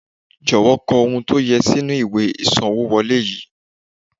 jowo ko ohun to ye si inu iwe isanwo wole yii